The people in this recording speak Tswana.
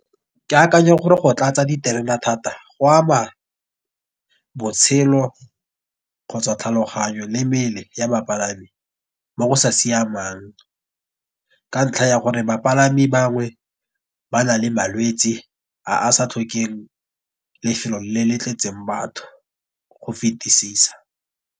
Ke akanya gore go tlatsa diterena thata go ama botshelo kgotsa tlhaloganyo le mmele ya bapalami mo go sa siamang. Ka ntlha ya gore bapalami bangwe ba na le malwetsi a a sa tlhokeng lefelo le le tletseng batho go fetisisa.